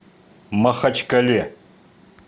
махачкале